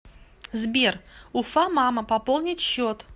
сбер уфамама пополнить счет